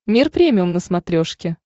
мир премиум на смотрешке